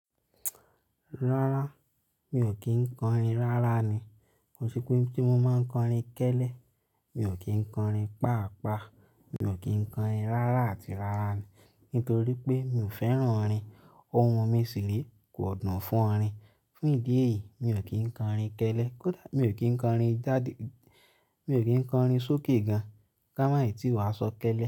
Rárá, mi ò kí ń kọrin rárá ni. Ko si pé tí mo máa ń kọrin kẹ́ẹ́lẹ́, mi ò kí ń kọrin pàápàá, mi ò kí ń kọrin rárá àti rárá ni. Nítorí pé mi ò fẹ́ràn orin. Ohun mi ṣìrí kò dun fún orin. Fún ìdí èyí, mi ò kí ń kọrin kẹ́ẹ́lẹ́. Mi ò kí ń kọrin jáde, mi ò kí ń kọrin sókè gan-an ká máà tí wá sọ kẹ́ẹ́lẹ́.